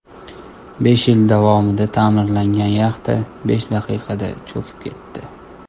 Besh yil davomida ta’mirlangan yaxta, besh daqiqada cho‘kib ketdi.